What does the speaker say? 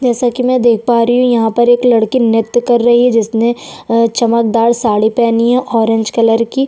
जैसे की में देख पा रही हूँ यहाँ पर एक लड़के ने नृत्य कर रही है जिसने अ चमकदार साड़ी पेहनी है ऑरेंज कलर की--